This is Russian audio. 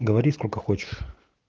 говори сколько хочешь